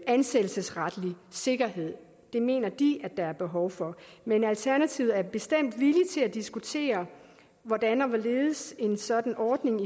ansættelsesretlig sikkerhed det mener de der er behov for men alternativet er bestemt villig til at diskutere hvordan og hvorledes en sådan ordning